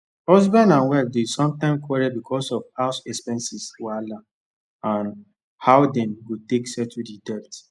husband and wife dey sometimes quarrel because of house expenses wahala and how dem go take settle the debt